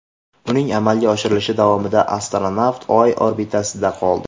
Uning amalga oshirilishi davomida astronavt Oy orbitasida qoldi.